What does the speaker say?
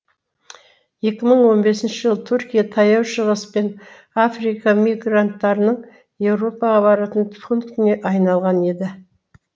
екі мың он бесінші жылы түркия таяу шығыс пен африка мигранттарының еуропаға баратын пунктіне айналған еді